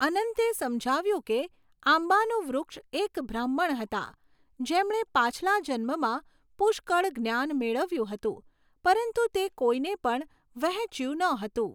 અનંતે સમજાવ્યું કે આંબાનું વૃક્ષ એક બ્રાહ્મણ હતા, જેમણે પાછલા જન્મમાં પુષ્કળ જ્ઞાન મેળવ્યું હતું, પરંતુ તે કોઈને પણ વહેંચ્યું ન હતું.